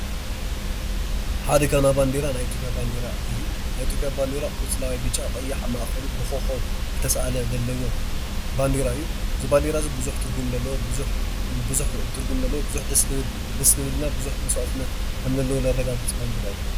ሓደጋ ና ባንዴራ ናይ ኢትዮጵያ ባንዴራ እዩ። ናይ እትዮጵያ ባንዴራ ቆፅላዋይ፣ ብጫ፣ ቀያሕ፣ ኣብ ማእኸሉ ብኮኮብ ዝተሰአለ ዘለዎ ባንዴራ እዩ። እዚ ባንዴራ እዚ ብዙሕ ትርጉም ዘለዎ ብዙሕ ደስ ዝብል እና ብዙሕ መስዋእትነት ዘለዎ ከምነረጋግፅ ባንዴራ ዩ።